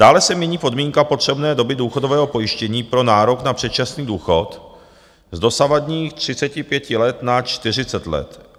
Dále se mění podmínka potřebné doby důchodového pojištění pro nárok na předčasný důchod z dosavadních 35 let na 40 let.